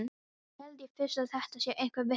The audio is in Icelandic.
Þá held ég fyrst að þetta sé einhver vitleysa.